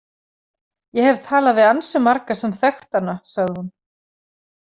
Ég hef talað við ansi marga sem þekktu hana, sagði hún.